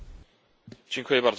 Pani Przewodnicząca!